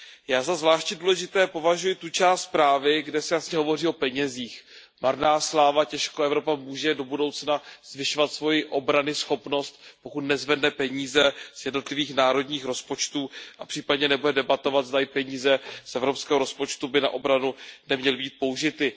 Já za zvláště důležitou považuji tu část zprávy, kde se jasně hovoří o penězích. Marná sláva, těžko Evropa může do budoucna zvyšovat svoji obranyschopnost, pokud nezvedne peníze z jednotlivých národních rozpočtů, a případně nebude debatovat, zdali peníze z evropského rozpočtu by na obranu neměly být použity.